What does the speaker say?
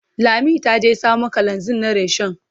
Lami ta je samo kalanzir na rishon.